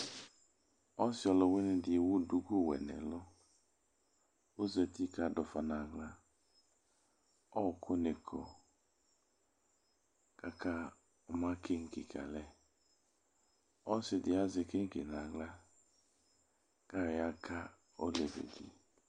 Ɔsɩ ɔlʋwɩnɩ dɩ ewu duku wɛ nʋ ɛlʋ Ɔzati kʋ adʋ ʋfa nʋ aɣla Ɔɣɔkʋnɩ kɔ kʋ akama keŋke ka alɛ Ɔsɩ dɩ azɛ keŋke nʋ aɣla kʋ ayɔ yaka olevi dɩ